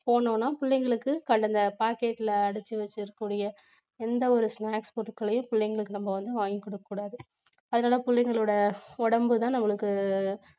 போணும்னா பிள்ளைங்களுக்கு கண்டதை packet ல அடைச்சு வச்சிருக்கக்கூடிய எந்த ஒரு snacks பொருட்களையும் பிள்ளைங்களுக்கு நம்ம வந்து வாங்கிக் கொடுக்கக்கூடாது அதனால பிள்ளைங்களோட உடம்புதான் நம்மளுக்கு